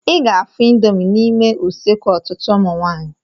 I ga-afụ ịndomii n'ime useekụ ọtụtụ ụmụ nwaanyị.